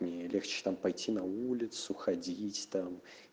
мне легче там пойти на улицу ходить там